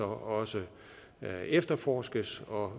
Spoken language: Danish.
også efterforskes og